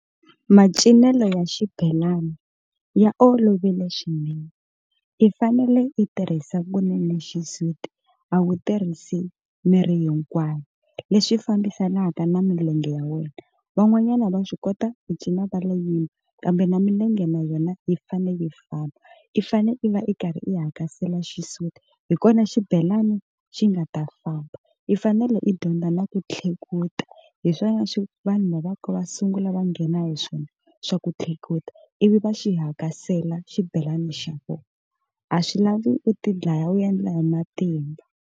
Macinelo ya xibelani ya olovile swinene i fanele i tirhisa kunene xisuti a wu tirhisi miri hinkwayo, leswi fambisanaka na milenge ya wena van'wanyana va swi kota ku cina va lo kambe na milenge na yona yi fane yi famba, i fane i va i karhi i hakasela xisuti hi kona xibelani xi nga ta famba, i fanele i dyondza na ku tlhekuta hi swona vanhu va vanhu va sungula va nghena hi swona xa ku tlakula ivi va xi hakasela xibelani xa vona a swi lavi u ti dlaya u yendla hi matimba.